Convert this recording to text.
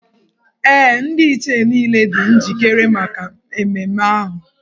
Ee, Ndị Ichie niile dị njikere maka ememme ahụ.